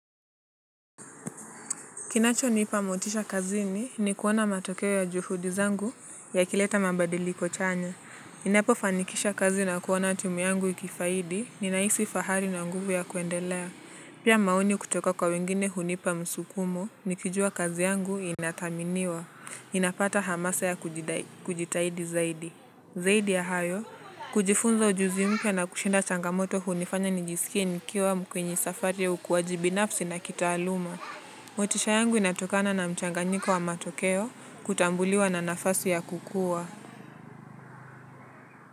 Kinachonipa motisha kazini ni kuona matokeo ya juhudi zangu yakileta mabadiliko chanya. Ninapofanikisha kazi na kuona timu yangu ikifaidi ninaisi fahari na nguvu ya kuendelea. Pia maoni kutoka kwa wengine hunipa msukumo nikijua kazi yangu inathaminiwa. Ninapata hamasa ya kujitahidi zaidi. Zaidi ya hayo, kujifunza ujuzi mpya na kushinda changamoto hunifanya nijisikie nikiwa kwenye safari ya ukuaji binafsi na kitaaluma. Motisha yangu inatokana na mchanganyiko wa matokeo, kutambuliwa na nafasi ya kukua.